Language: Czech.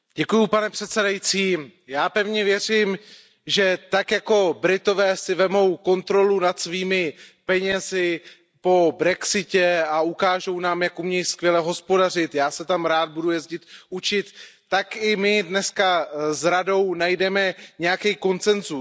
Pane předsedající, já pevně věřím, že tak, jako Britové si vezmou kontrolu nad svými penězi po brexitu a ukážou nám, jak umí skvěle hospodařit já se tam rád budu jezdit učit tak i my dnes s Radou najdeme nějaký konsenzus.